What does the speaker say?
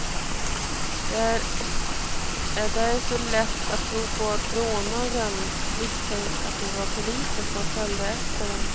Det är därför lätt att tro att rånarna misstänkte att det var poliser som följde efter dem.